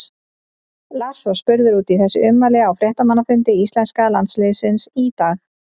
Lars var spurður út í þessi ummæli á fréttamannafundi íslenska landsliðsins í dag.